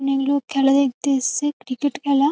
অনেক লোক খেলা দেখতে এসছে ক্রিকেট খেলা।